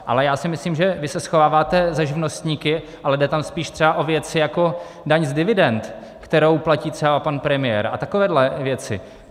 Ale já si myslím, že vy se schováváte za živnostníky, ale jde tam spíš třeba o věci jako daň z dividend, kterou platí třeba pan premiér, a takové věci.